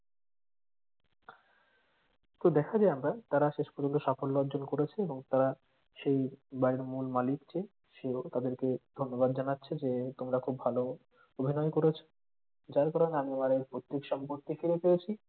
তো দেখা যায় আমরা তারা শেষ পর্যন্ত সাফল্য অর্জন করেছে এবং তারা সেই বাড়ির মূল মালিক যে সেও তাদেরকে ধন্যবাদ জানাচ্ছে যে তোমরা খুব ভালো অভিনয় করেছো যার কারণ আমি আমার এই পৈতৃক সম্পত্তি ফিরে পেয়েছি।